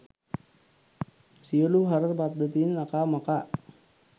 සියලු හර පද්ධතීන් අකා මකා